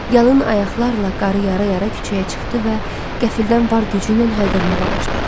Yalın ayaqlarla qarı yara-yara küçəyə çıxdı və qəfildən var gücü ilə hayqırmağa başladı.